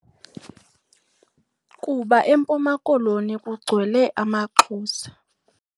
Kuba eMpumakoloni kugcwele amaXhosa.